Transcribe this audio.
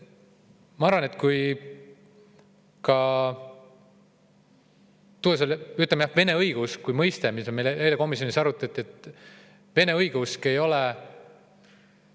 Meil eile arutati komisjonis ka vene õigeusu mõistet.